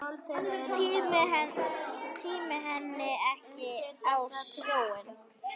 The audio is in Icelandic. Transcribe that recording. Tími henni ekki á sjóinn!